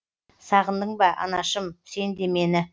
сағындың ба анашым сен де мені